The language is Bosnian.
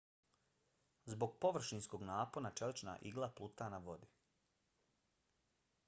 zbog površinskog napona čelična igla pluta na vodi